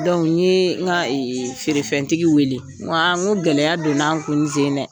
n yee ŋa feerefɛntigi weele ŋo aa ŋo gɛlɛya donn'an kun nin sen in dɛ.